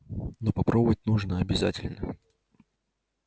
но попробовать нужно обязательно